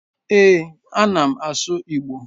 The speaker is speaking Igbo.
Ee, a na m asụ Igbo